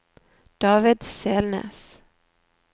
David Selnes